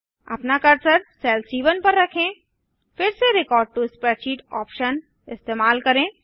अपना cursor cell सी1 पर रखें फिर से रेकॉर्ड टो स्प्रेडशीट ऑप्शन इस्तेमाल करें